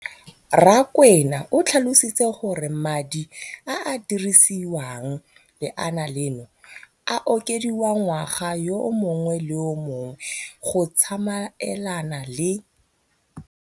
Rakwena o tlhalositse gore madi a a dirisediwang lenaane leno a okediwa ngwaga yo mongwe le yo mongwe go tsamaelana le